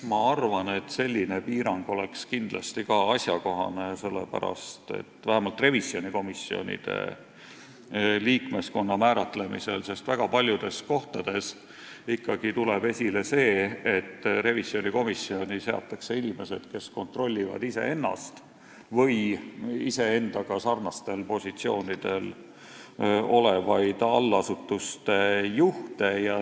Ma arvan, et selline piirang oleks kindlasti asjakohane vähemalt revisjonikomisjonide liikmeskonna kindlaksmääramisel, sest väga paljudes kohtades on juhtunud, et revisjonikomisjoni liikmeks on seatud inimesed, kes kontrollivad iseennast või nendega sarnastel positsioonidel olevaid allasutuste juhte.